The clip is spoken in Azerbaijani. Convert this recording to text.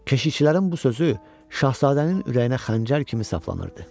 Keşikçilərin bu sözü Şahzadənin ürəyinə xəncər kimi saplanırdı.